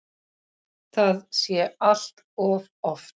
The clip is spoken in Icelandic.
Það sé allt of oft.